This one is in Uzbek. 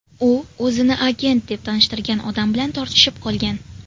U o‘zini agent deb tanishtirgan odam bilan tortishib qolgan.